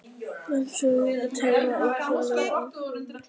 Fjörnir, pantaðu tíma í klippingu á mánudaginn.